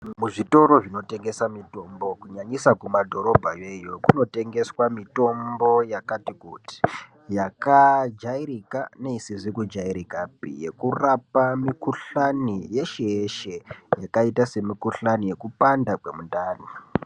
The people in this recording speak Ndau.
Muzvitoro zvinotengesa mitombo kunyanyisa kumadhorobha iyeyeyo kunotengeswa mitombo yakati kuti yakajairika neisizi kijairikapi yekurape mikhuhlani yese yeshe yakaita semikhulani yekupanda kwemundani.